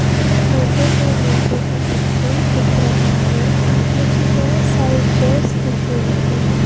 इस फोटो में मुझे एक रूम दिख रहा है मुझे बहुत सारे चेयर्स दिख रहे हैं।